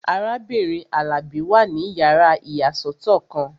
Arábìnrin Alabi wà ní yàrá ìyàsọ́tọ̀ kan